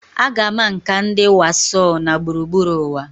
A ga-ama nka ndi Warsaw na gburugburu ụwa.